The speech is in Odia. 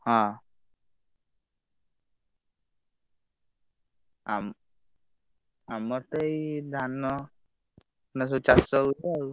ହଁ ଆମ ଆମର ତ ଏଇ ଧାନ ସବୁ ଚାଷ ହଉଛି ଆଉ।